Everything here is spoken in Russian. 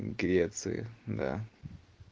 греции да